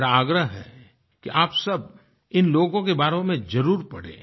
मेरा आग्रह है कि आप सब इन लोगों के बारे में ज़रूर पढें